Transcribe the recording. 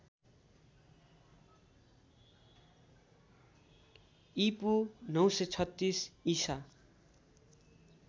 ईपू ९३६ ईसा